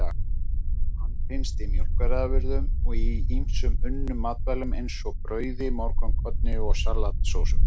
Hann finnst í mjólkurafurðum og í ýmsum unnum matvælum, eins og brauði, morgunkorni og salatsósum.